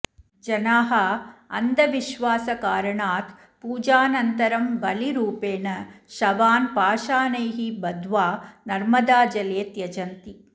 जनाः अन्धविश्वासकारणात् पूजानन्तरं बलिरूपेण शवान् पाषाणैः बद्ध्वा नर्मदाजले त्यजन्ति